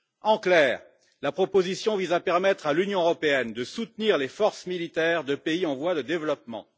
En clair, la proposition vise à permettre à l'Union européenne de soutenir les forces militaires de pays en voie de développement.